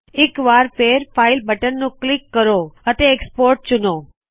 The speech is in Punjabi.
ਇਕ ਵਾਰ ਫੇਰ ਫਾਈਲ ਬਟਨ ਨੂੰ ਕਲਿੱਕ ਕਰੋ ਅਤੇ ਐਕਸਪੋਰਟ ਚੁਣੋ